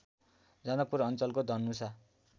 जनकपुर अञ्चलको धनुषा